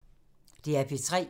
DR P3